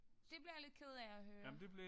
Det bliver jeg lidt ked af at høre